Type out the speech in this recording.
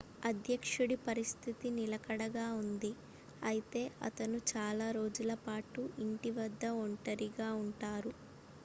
అధ్యక్షుడి పరిస్థితి నిలకడగా ఉంది అయితే అతను చాలా రోజుల పాటు ఇంటి వద్ద ఒంటరిగా ఉంటారు